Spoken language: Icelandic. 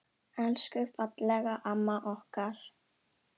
Elsku fallega amma okkar.